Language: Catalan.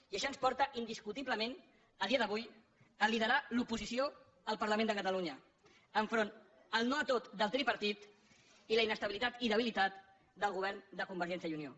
i això ens porta indiscutiblement a dia d’avui a liderar l’oposició al parlament de catalunya enfront el no a tot del tripartit i la inestabilitat i debilitat del govern de convergència i unió